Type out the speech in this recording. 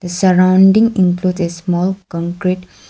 surrounding include a small concrete.